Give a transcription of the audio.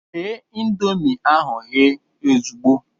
Ghe ịndomii ahụ ehe ozugbo!